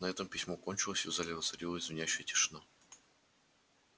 на этом письмо кончилось и в зале воцарилась звенящая тишина